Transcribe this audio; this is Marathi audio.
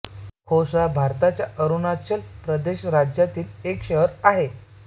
खोंसा भारताच्या अरुणाचल प्रदेश राज्यातील एक शहर आहे